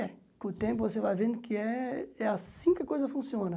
É, com o tempo você vai vendo que é é assim que a coisa funciona.